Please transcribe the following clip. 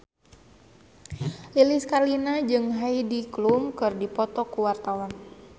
Lilis Karlina jeung Heidi Klum keur dipoto ku wartawan